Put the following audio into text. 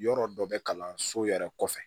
Yɔrɔ dɔ bɛ kalanso yɛrɛ kɔfɛ